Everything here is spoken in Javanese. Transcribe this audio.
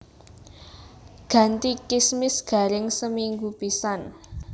Ganti kismis garing seminggu pisan